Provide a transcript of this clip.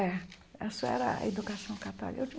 É, essa era a educação católica.